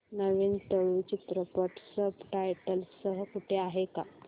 नवीन तुळू चित्रपट subtitles सह कुठे आहे का